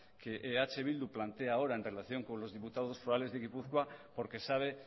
que eh bildu plantea ahora en relación con los diputados forales de gipuzkoa porque sabe